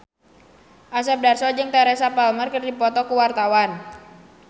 Asep Darso jeung Teresa Palmer keur dipoto ku wartawan